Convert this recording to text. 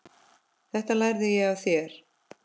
Þetta lærði ég af þér.